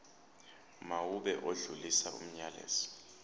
mawube odlulisa umyalezo